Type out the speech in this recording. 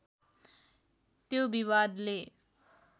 त्यो विवादले